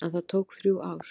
En það tók þrjú ár.